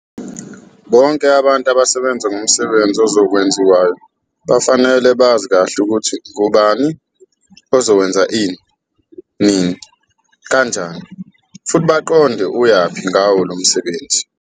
Bonke abantu abasebenza ngomsebenzi ozokwenziwayo bafanele bazi kahle ukuthi ngubani ozokwenza ini, nini, kanjani futhi baqonde ukuyaphi ngawo lo msebenzi.